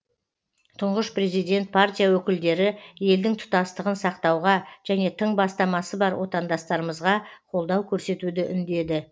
тұңғыш президент партия өкілдері елдің тұтастығын сақтауға және тың бастамасы бар отандастарымызға қолдау көрсетуді үндеді